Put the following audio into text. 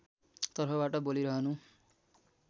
तर्फबाट बोलिरहनु